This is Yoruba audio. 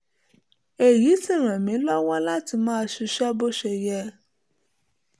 èyí sì ràn mí lọ́wọ́ láti lè máa ṣiṣẹ́ bó ṣe yẹ